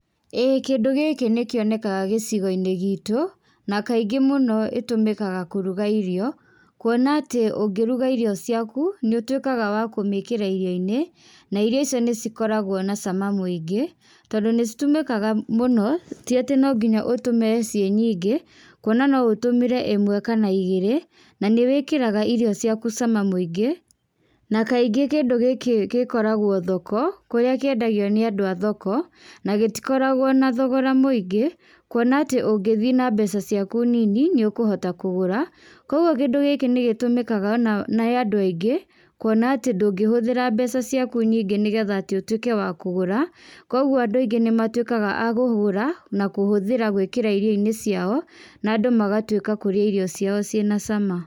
ĩĩ kĩndũ gĩkĩ nĩkĩonekaga gĩcigo-inĩ gitũ, na kaingĩ mũno ĩtũmĩkaga kũruga irio, kuona atĩ ũngĩruga irio ciaku, nĩũtwĩkaga wa kũmĩkĩra irio-inĩ, na irio icio nĩcikoragwo na cama mũingĩ, tondũ nĩcitũmĩkaga mũno, tiatĩ nonginya ũtũme ciinyingĩ, kuona noũtũmĩre ĩmwe kana igĩrĩ, nanĩwĩkaraga irio ciaku cama mũingĩ, na kaingí kĩndũ gĩkĩ gĩkoragwo thoko, kũrĩa kĩendagio nĩ andũ a thoko, na gĩtikoragwo na thogora mũingĩ, kuona atĩ ũngĩthi na mbeca ciaku nini, nĩũkũhota kũgũra, koguo kĩndũ gĩkĩ nĩgĩtũmĩkaga ona nĩĩ andũ aingĩ, kuona atĩ ndũngĩhũthĩra mbeca ciaku nyingĩ nĩgetha tĩ ũtwĩke wa kũgũra, koguo andũ aingĩ nĩmatwĩkaga a kũgũra, na kũhũthĩra gwĩkíra irio-inĩ ciao, na andũ magatwĩka kũrĩa irio ciao ciĩna cama.